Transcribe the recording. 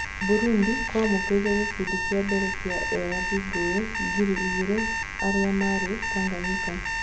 Burundi kwamũkĩrire gĩkundi kĩa mbere kĩa ethari ngũĩ ngiri igirĩ arĩa marĩ Tanganyika.